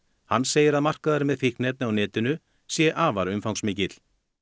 hann segir að markaðurinn með fíkniefni á netinu sé afar umfangsmikill